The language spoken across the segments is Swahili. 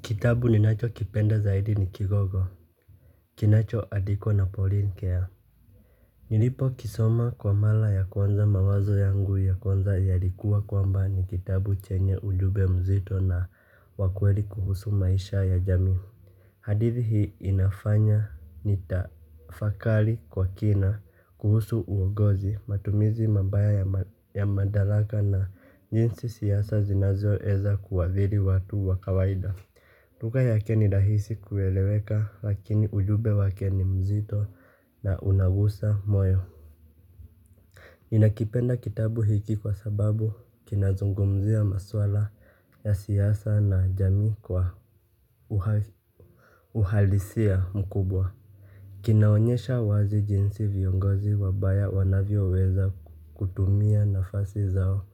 Kitabu ninacho kipenda zaidi ni kigogo. Kinacho adikwo na Pauline Care. Nilipo kisoma kwa mala ya kwanza mawazo yangu ya kwanza yalikuwa kwamba ni kitabu chenye ujube mzito na wakweli kuhusu maisha ya jamii. Hadithi hii inafanya nitafakali kwa kina kuhusu uogozi matumizi mabaya ya madalaka na jinsi siyasa zinazo eza kuwadhiri watu wa kawaida. Lugha yake ni dahisi kueleweka lakini ujube wake ni mzito na unagusa moyo. Ninakipenda kitabu hiki kwa sababu kinazungumzia maswala ya siyasa na jamii kwa uhalisia mkubwa. Kinaonyesha wazi jinsi viongozi wabaya wanavyo weza kutumia nafasi zao.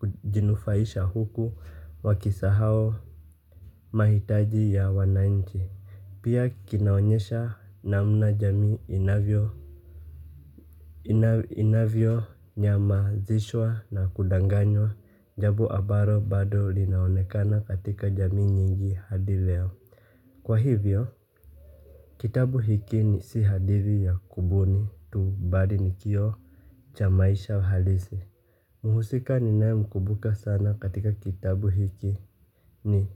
Kujinufaisha huku wakisahao. Mahitaji ya wananchi pia kinaonyesha namna jami inavyo inavyo nyamazishwa na kudanganywa. Jabo abaro bado linaonekana katika jamii nyingi hadi leo. Kwa hivyo, kitabu hiki ni si hadithi ya kubuni tu badi ni kioo cha maisha halisi. Muhusika ninae mkubuka sana katika kitabu hiki. Ni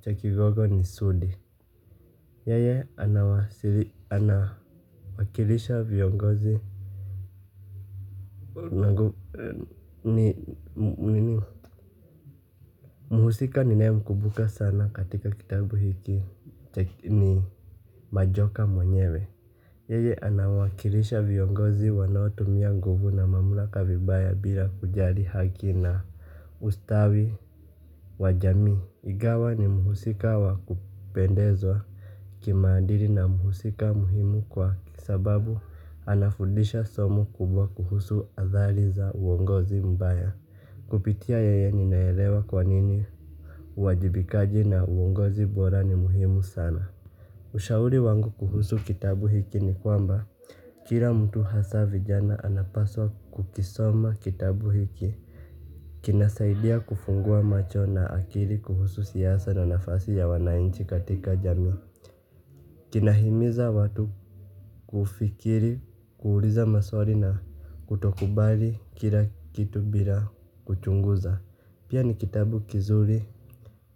cha kigogo ni sudi. Yeye anawakilisha viongozi. Muhusika ninae mkubuka sana katika kitabu hiki ni majoka mwenyewe. Yeye anawakilisha viongozi wanaotumia nguvu na mamlaka vibaya bila kujari haki na ustawi. Wajamii igawa ni muhusika wakupendezwa. Kimaadiri na muhusika muhimu kwa kisababu anafudisha somo kubwa kuhusu athali za uongozi mbaya. Kupitia yeye ninaelewa kwa nini? Wajibikaji na uongozi bora ni muhimu sana. Ushauri wangu kuhusu kitabu hiki ni kwamba kira mtu hasa vijana anapaswa kukisoma kitabu hiki. Kinasaidia kufungua macho na akili kuhusu siyasa na nafasi ya wanainchi katika jamii. Kinahimiza watu kufikiri, kuuliza maswari na kutokubali kila kitu bila kuchunguza. Pia ni kitabu kizuri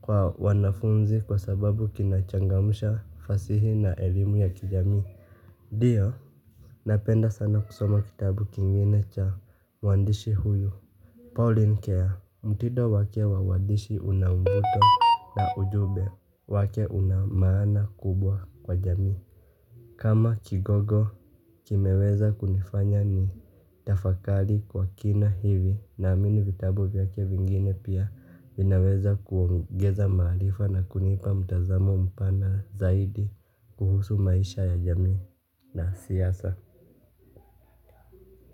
kwa wanafunzi kwa sababu kinachangamusha fasihi na elimu ya kijamii. Dio, napenda sana kusoma kitabu kingine cha wandishi huyu Pauline Care, mtido wake wa uandishi unambuto na ujube wake una maana kubwa kwa jamii. Kama kigogo kimeweza kunifanya ni tafakali kwa kina hivi na aamini vitabu vyake vingine pia inaweza kuongeza maarifa na kunipa mtazamo mpana zaidi kuhusu maisha ya jamii na siyasa.